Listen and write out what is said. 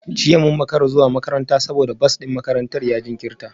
Jiya mun makara zuwa makaranta saboda bas din makarantar ya jinkirta